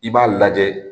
I b'a lajɛ